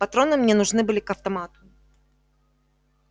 патроны мне нужны были к автомату